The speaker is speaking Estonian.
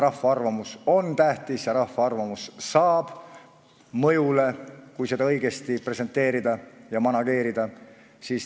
Rahva arvamus on tähtis ja rahva arvamus pääseb mõjule, kui seda õigesti presenteerida ja manageerida.